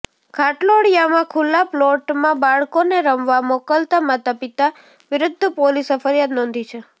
ઘાટલોડિયામાં ખુલ્લા પ્લોટમાં બાળકોને રમવા મોકલતા માતાપિતા વિરૃદ્ધ પોલીસે ફરિયાદ નોંધી છે